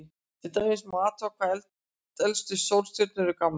Til dæmis má athuga hvað elstu sólstjörnur eru gamlar.